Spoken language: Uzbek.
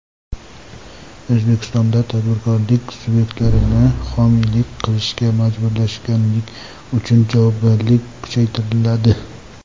O‘zbekistonda tadbirkorlik subyektlarini homiylik qilishga majburlaganlik uchun javobgarlik kuchaytiriladi.